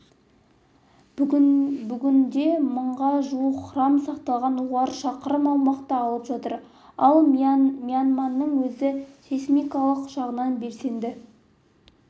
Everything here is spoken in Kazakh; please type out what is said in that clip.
бүгінде мыңға жуық храм сақталған олар шақырым аумақты алып жатыр ал мьянманың өзі сейсмикалық жағынан белсенді